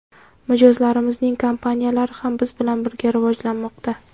Mijozlarimizning kompaniyalari ham biz bilan birga rivojlanmoqda.